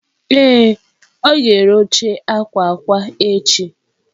Ee, ọ ga-ere oche akwa akwa echi.